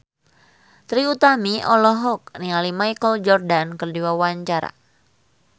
Trie Utami olohok ningali Michael Jordan keur diwawancara